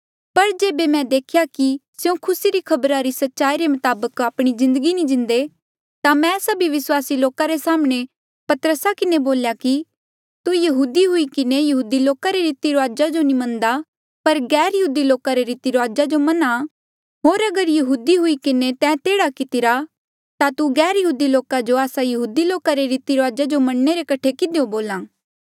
पर जेबे मैं देख्या कि स्यों खुसी री खबरा री सच्चाई रे मताबक आपणी जिन्दगी नी जींदे ता मैं सभी विस्वासी लोका रे साम्हणें पतरसा किन्हें बोल्या कि तू यहूदी हुई किन्हें यहूदी लोका रे रीती रुआजा जो नी मनदा पर गैरयहूदी लोका रे रीती रुआजा जो मन्हा होर अगर यहूदी हुई किन्हें तैं एह्ड़ा कितिरा ता तू गैरयहूदी लोका जो आस्सा यहूदी लोका रे रीती रुआजा जो मनणे रे कठे किधियो बोल्हा